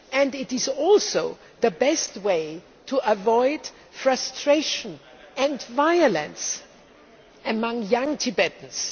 It is also the best way to avoid frustration and violence among young Tibetans.